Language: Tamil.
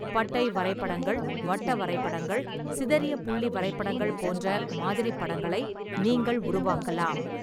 பட்டை வரைபடங்கள், வட்ட வரைபடங்கள், சிதறிய புள்ளி வரைபடங்கள் போன்ற மாதிரிபடங்களை நீங்கள் உருவாக்கலாம்.